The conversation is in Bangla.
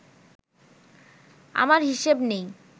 আমার হিসেব নেই